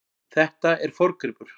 Þetta er forngripur.